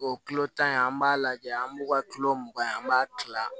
O kilo tan in an b'a lajɛ an b'u ka kilo mugan ye an b'a kila